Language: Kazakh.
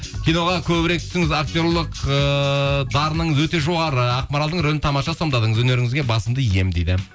киноға көбірек түсіңіз актерлік ыыы дарыныңыз өте жоғары ақмаралдың рөлін тамаша сомдадыңыз өнеріңізге басымды иемін дейді